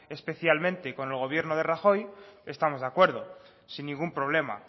especialmente y con el gobierno de rajoy estamos de acuerdo sin ningún problema